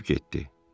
keçib getdi.